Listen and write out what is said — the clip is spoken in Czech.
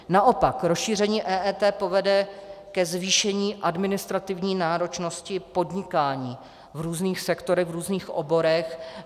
Naopak, rozšíření EET povede ke zvýšení administrativní náročnosti podnikání v různých sektorech, v různých oborech.